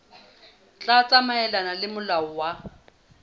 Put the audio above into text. tla tsamaelana le molao wa